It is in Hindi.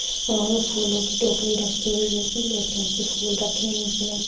और फूलों की टोकनी रखी हुई है पीले कलर की फूल रखे है इसमे--